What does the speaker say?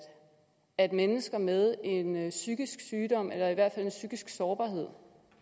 at mennesker med en psykisk sygdom eller i hvert fald en psykisk sårbarhed